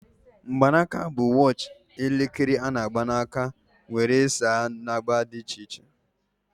Mgbanaka watch bụ elekere a-na agba aka, nwere saiz na agba dị iche iche